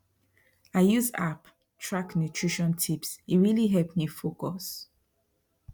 i use app track nutrition tipse really help me focus